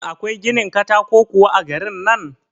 Shin akwai ginin katako kuwa a garin nan?